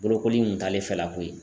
Bolokoli in kun t'ale fɛla ko ye.